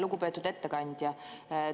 Lugupeetud ettekandja!